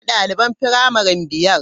Ina daliban firamare biyar?